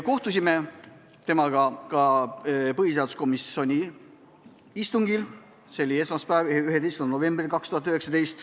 Kohtusime temaga ka põhiseaduskomisjoni istungil, see oli esmaspäeval, 11. novembril.